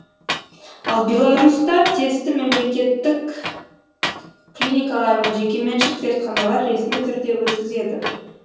ал беларусьта тесті мемлекеттік клиникалар мен жекеменшік зертханалар ресми түрде өткізеді